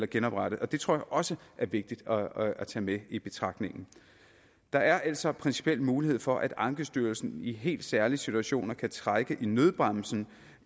genoprette og det tror også er vigtigt at tage med i betragtning der er altså en principiel mulighed for at ankestyrelsen i helt særlige situationer kan trække i nødbremsen